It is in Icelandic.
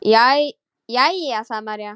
Jæja, sagði María.